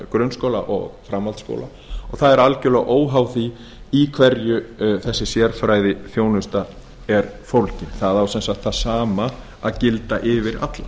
framhaldsskóla og það er algjörlega óháð því í hverju þessi sérfræðiþjónusta er fólgin það á sem sagt það sama að gilda yfir alla